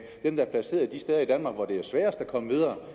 dem der er placeret de steder i danmark hvor det er sværest at komme videre